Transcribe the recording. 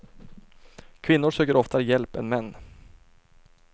Kvinnor söker oftare hjälp än män.